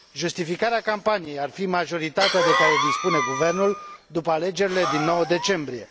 Justificarea campaniei ar fi majoritatea de care dispune guvernul după alegerile din 9 decembrie.